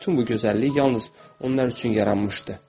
Elə bil bütün bu gözəllik yalnız onlar üçün yaranmışdı.